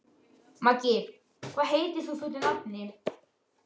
Maggi, hvað heitir þú fullu nafni?